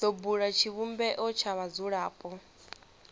do bula tshivhumbeo tsha vhadzulapo